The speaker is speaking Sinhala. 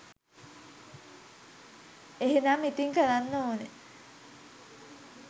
එහෙනම් ඉතින් කරන්න ඕන